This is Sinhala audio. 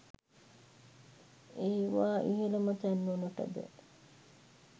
ඒවා ඉහළම තැන්වලටද